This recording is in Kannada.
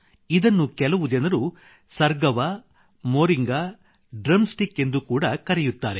ಇದನ್ನು ಕೆಲವು ಜನರು ಸರ್ಗವಾ ಮೋರಿಂಗಾ ಡ್ರಮ್ ಸ್ಟಿಕ್ ಎಂದು ಕೂಡಾ ಕರೆಯುತ್ತಾರೆ